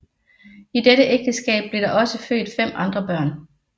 I dette ægteskab blev der også født fem andre børn